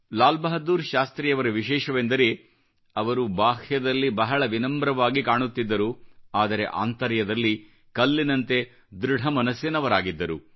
ಲಾಲ್ ಬಹಾದೂರ್ ಶಾಸ್ತ್ರಿಯವರ ವಿಶೇಷವೆಂದರೆ ಅವರು ಬಾಹ್ಯದಲ್ಲಿ ಬಹಳ ವಿನಮ್ರವಾಗಿ ಕಾಣುತ್ತಿದ್ದರು ಆದರೆ ಆಂತರ್ಯದಲ್ಲಿ ಕಲ್ಲಿನಂತೆ ದೃಢ ಮನಸ್ಸಿನವರಾಗಿದ್ದರು